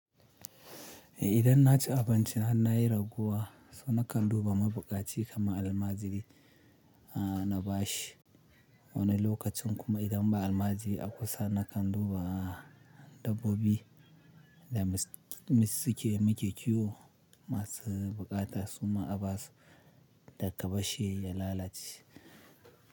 Idan na ci abinci har na yi raguwa, so na kan duba mabuƙaci kamar almajiri na bashi. Wani lokacin kuma idan ba almajiri a kusa, na kan duba dabbobi da mis suke muke kiwo masu buƙata su ma abasu da ka bashi ya lalace.